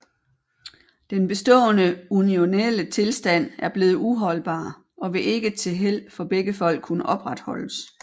Den bestaaende unionelle Tilstand er bleven uholdbar og vil ikke til Held for begge Folk kunne opretholdes